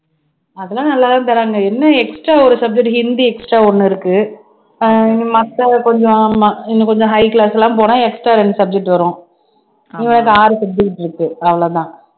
அதெல்லாம் நல்லாதான் தர்றாங்க என்ன extra ஒரு subject ஹிந்தி extra ஒண்ணு இருக்கு ஆஹ் மத்த கொஞ்சம் ஆமா இன்னும் கொஞ்சம் high class எல்லாம் போனா extra ரெண்டு subject வரும் ஆறு subject இருக்கு அவ்வளவுதான்